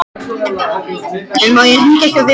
En má ég hringja hjá þér fyrst?